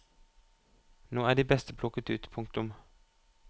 Nå er de beste plukket ut. punktum